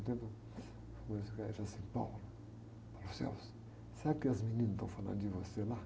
Então ele falou assim, sabe o que as meninas estão falando de você lá?